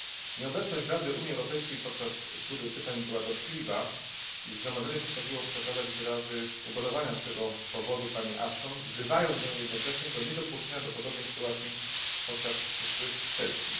Nieobecność Rady Unii Europejskiej podczas tury pytań była dotkliwa i Zgromadzenie postanowiło przekazać Catherine Ashton wyrazy ubolewania z tego powodu, wzywając ją jednocześnie do niedopuszczenia do podobnej sytuacji podczas przyszłych sesji.